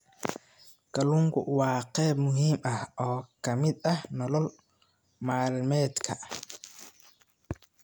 Kalluunku waa qayb muhiim ah oo ka mid ah nolol maalmeedka.